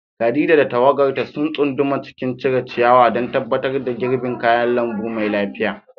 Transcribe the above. Khadija da tawagarta sun tsunduma cikin cire ciyawa don tabbatar da girbin kayan lambu mai lafiya.